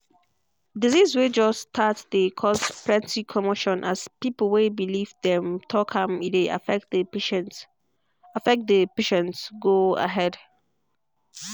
disease way just start dey cause plenty commotion as pepo way believe dem talk am e dey affect the patient affect the patient go ahead.